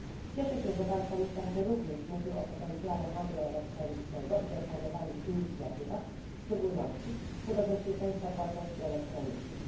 Cieszę się, że Pan Komisarz również mówił o potencjale handlu elektronicznego i planowanych inicjatywach, w szczególności w kontekście bezpieczeństwa płatności elektronicznych.